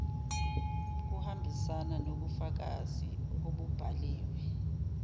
kuhambisana nobufakazi obubhaliwe